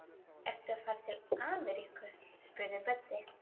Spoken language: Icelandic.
Ertu að fara til Ameríku? spurði Böddi.